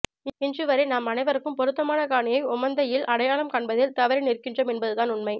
இன்று வரை நாம் அனைவருக்கும் பொருத்தமான காணியை ஓமந்தையில் அடையாளம் காண்பதில் தவறி நிற்கின்றோம் என்பதுதான் உண்மை